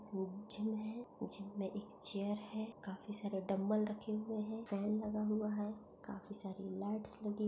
gym है gym में एक चेयर है काफी सारे डंबल रखे हुए है फॅन लगा हुआ है काफी सारी लाईट्स लगी --